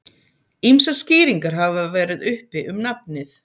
Ýmsar skýringar hafa verið uppi um nafnið.